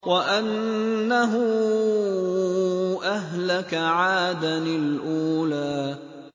وَأَنَّهُ أَهْلَكَ عَادًا الْأُولَىٰ